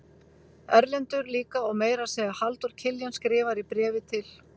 Erlendur líka og meira að segja Halldór Kiljan skrifar í bréfi til